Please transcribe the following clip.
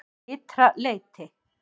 Ytra leyti